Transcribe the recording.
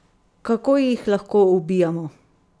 Kako jih lahko ubijamo?